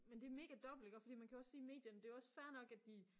Men det mega dobbelt iggå fordi man kan jo også sige medierne det jo også fair nok at de